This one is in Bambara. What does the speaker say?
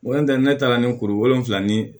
Wolontanɛ ne taara ni kuru wolonfila ni